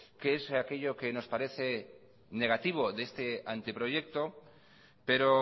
qué es aquello que nos parece negativo de este anteproyecto pero